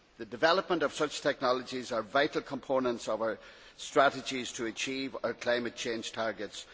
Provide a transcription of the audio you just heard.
The development of such technologies is a vital component of our strategies to achieve our climate change targets.